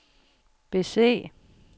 bese